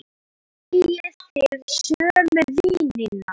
Eigið þið sömu vinina?